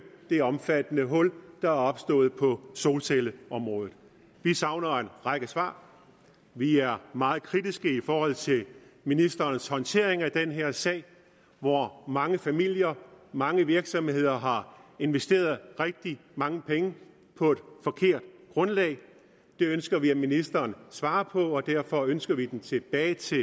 det omfattende hul der er opstået på solcelleområdet vi savner en række svar vi er meget kritiske i forhold til ministerens håndtering af den her sag hvor mange familier mange virksomheder har investeret rigtig mange penge på et forkert grundlag det ønsker vi ministeren svarer på og derfor ønsker vi det tilbage til